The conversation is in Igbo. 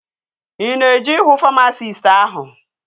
Ị na-eje ịhụ famasisti áhụ̀?